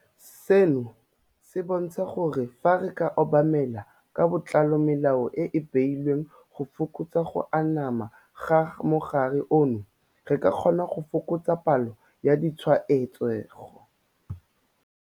Seno se bontsha gore fa re ka obamela ka botlalo melao e e beilweng go fokotsa go anama ga mogare ono, re ka kgona go fokotsa palo ya ditshwaetsego.